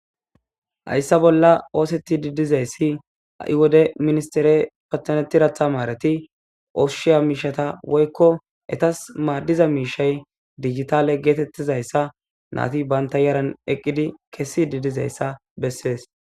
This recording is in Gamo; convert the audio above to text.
Haysa bolla oosetishr dizasi ha'i wode ministere patanetiza tamaretas koshiya miishata woyko etas madiza miishay dijitale getetizaysi nayti banta yarn eqidi kezidi dizaysa besses.